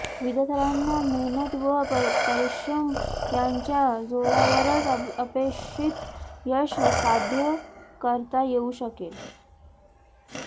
विद्यार्थ्यांना मेहनत व परिश्रम यांच्या जोरावरच अपेक्षित यश साध्य करता येऊ शकेल